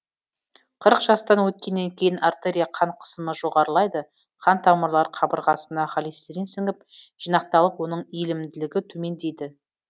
қырық жастан өткеннен кейін артерия қан қысымы жоғарылайды қан тамырлар қабырғасына холестерин сіңіп жинақталып оның иілімділігі төмендейді